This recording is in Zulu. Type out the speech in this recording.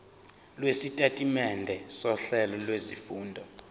lwesitatimende sohlelo lwezifundo